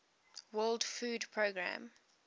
world food programme